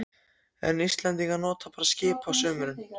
En Íslendingar nota bara skip á sumrum.